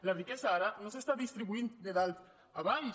la riquesa ara no s’està distribuint de dalt a baix